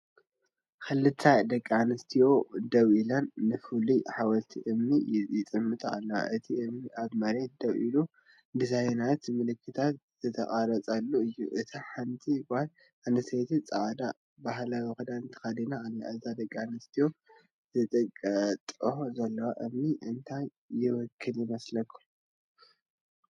ክልተ ደቂ ኣንስትዮ ደው ኢለን ንፍሉይ ሓወልቲ እምኒ ይጥምታ ኣለዋ። እቲ እምኒ ኣብ መሬት ደው ኢሉ ዲዛይናትን ምልክታትን ዝተቐርጸሉ እዩ። እታ ሓንቲ ጓል ኣንስተይቲ ጻዕዳ ባህላዊ ክዳን ተኸዲና ኣላ። እዘን ደቂ ኣንስትዮ ዝጥምታኦ ዘለዋ እምኒ እንታይ ይውክል ይመስለኩም?